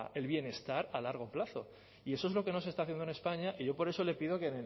el bienestar a largo plazo y eso es lo que no se está haciendo en españa y yo por eso le pido que